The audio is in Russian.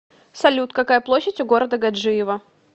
салют какая площадь у города гаджиево